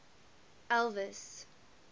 elvis